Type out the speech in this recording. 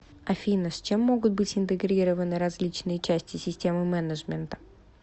афина с чем могут быть интегрированы различные части системы менеджмента